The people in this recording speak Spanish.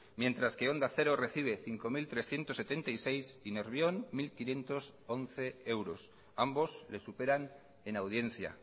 mientras que onda cero recibe cinco mil trescientos setenta y seis y nervión mil quinientos once euros ambos le superan en audiencia